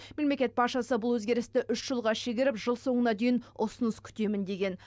мемлекет басшысы бұл өзгерісті үш жылға шегеріп жыл соңына дейін ұсыныс күтемін деген